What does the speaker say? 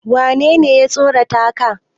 wanene ya tsorata ka?